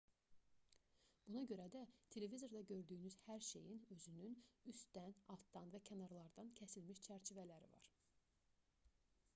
buna görə də televizorda gördüyünüz hər şeyin özünün üstdən altdan və kənarlardan kəsilmiş çərçivələri var